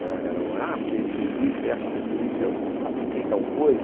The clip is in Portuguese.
Não é, eram, ah, porque ele fez isso, e aconteceu isso, e eu apliquei tal coisa.